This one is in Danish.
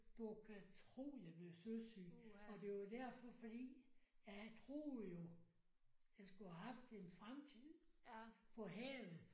Du kan tro jeg blev søsyg! Og der var derfor fordi at jeg troede jo jeg skulle have haft en fremtid på havet